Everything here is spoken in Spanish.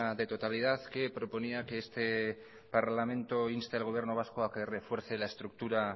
de totalidad que proponía que este parlamento inste al gobierno vasco a que refuerce la estructura